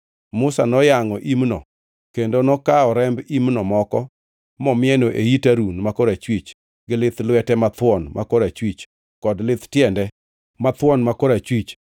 Musa moyangʼo imno kendo nokawo remb imno moko momieno e it Harun ma korachwich, gi lith lwete mathuon ma korachwich kod lith tiende mathuon ma korachwich.